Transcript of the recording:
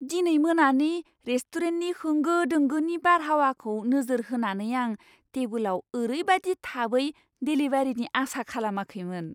दिनै मोनानि रेस्टुरेन्टनि होंगो दोंगोनि बारहावाखौ नोजोर होनानै, आं टेबोलाव ओरैबादि थाबै देलिभारिनि आसा खालामाखैमोन।